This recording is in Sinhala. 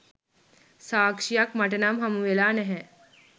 සාක්ෂියක් මටනම් හමු වෙලා නැහැ.